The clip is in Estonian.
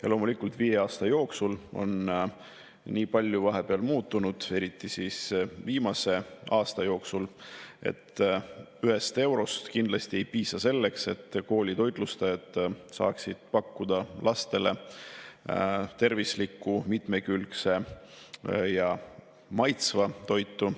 Aga loomulikult on viie aasta jooksul nii palju muutunud, eriti viimase aasta jooksul, et 1 eurost kindlasti ei piisa selleks, et koolide toitlustajad saaksid pakkuda lastele tervislikku, mitmekülgset ja maitsvat toitu.